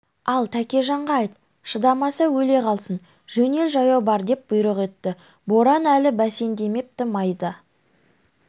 ал тәкежанға айт шыдамаса өле қалсын жөнел жаяу бар деп бұйрық етті боран әлі бәсеңдемепті майда